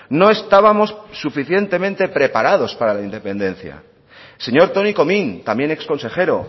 no estábamos suficientemente preparados para la independencia señor toni comín también exconsejero